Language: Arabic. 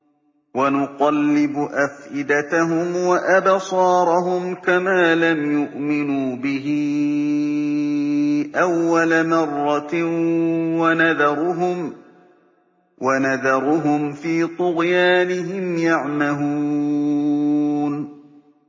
وَنُقَلِّبُ أَفْئِدَتَهُمْ وَأَبْصَارَهُمْ كَمَا لَمْ يُؤْمِنُوا بِهِ أَوَّلَ مَرَّةٍ وَنَذَرُهُمْ فِي طُغْيَانِهِمْ يَعْمَهُونَ